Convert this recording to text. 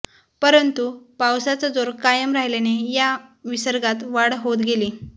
परंतु पावसाचा जोर कायम राहिल्याने या विसर्गात वाढ होत गेली